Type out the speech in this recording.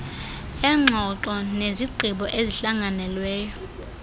eengxoxo nezigqibo ezihlanganelweyo